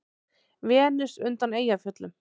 Venus undan Eyjafjöllum.